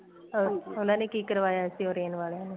ਅਹ ਉਹਨਾ ਨੇ ਕੀ ਕਰਵਾਇਆ ਸੀ orange ਵਾਲਿਆ ਨੇ